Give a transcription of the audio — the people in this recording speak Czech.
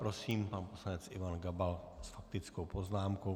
Prosím, pan poslanec Ivan Gabal s faktickou poznámkou.